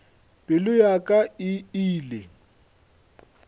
pelo ya ka e ile